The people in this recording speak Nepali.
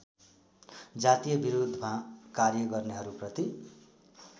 जातीयविरोधमा कार्य गर्नेहरूप्रति